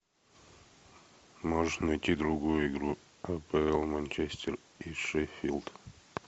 можешь найти другую игру апл манчестер и шеффилд